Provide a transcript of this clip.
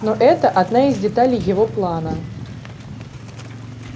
но это одна из деталей его плана